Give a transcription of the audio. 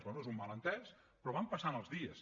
bé és un malentès però van passant els dies